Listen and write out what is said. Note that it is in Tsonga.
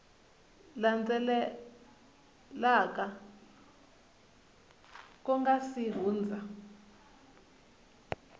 landzelaka ku nga si hundza